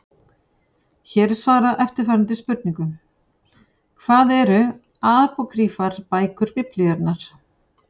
Hér er svarað eftirfarandi spurningum: Hvað eru apókrýfar bækur Biblíunnar?